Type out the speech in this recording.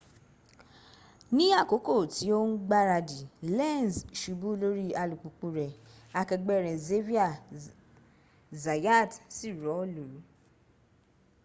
ní àkókò tí ó ń gbáradì lenz subu lórí alùpùpù rẹ̀ akẹgbẹ́ rẹ̀ xavier zayat sì rọ́ọ̀lú